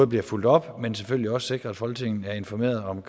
bliver fulgt op men selvfølgelig også sikre at folketinget er informeret om